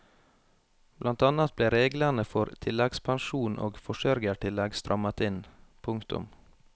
Blant annet ble reglene for tilleggspensjon og forsørgertillegg strammet inn. punktum